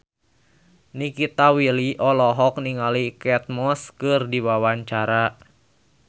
Nikita Willy olohok ningali Kate Moss keur diwawancara